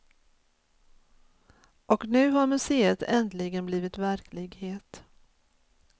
Och nu har museet äntligen blivit verklighet.